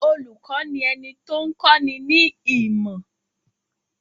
Olùkọ́ ni ẹni tó ń kọ́ ni ní ìmọ̀.